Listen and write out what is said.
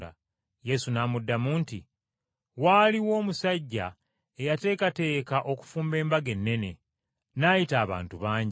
Yesu n’amuddamu nti, “Waaliwo omusajja eyateekateeka okufumba embaga ennene, n’ayita abantu bangi.